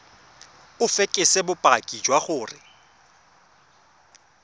o fekese bopaki jwa gore